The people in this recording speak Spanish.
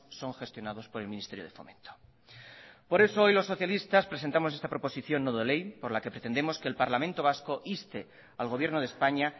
son gestionados por el ministerio de fomento por eso hoy los socialistas presentamos esta proposición no de ley por la que pretendemos que el parlamento vasco inste al gobierno de españa